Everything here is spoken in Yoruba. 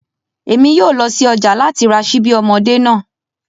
Emi yoo lọ si ọja lati ra ṣibi ọmọde naa